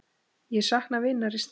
Ég sakna vinar í stað.